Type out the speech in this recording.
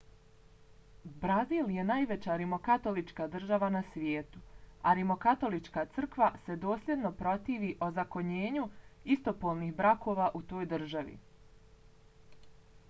brazil je najveća rimokatolička država na svijetu a rimokatolička crkva se dosljedno protivi ozakonjenju istopolnih brakova u toj državi